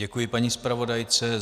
Děkuji paní zpravodajce.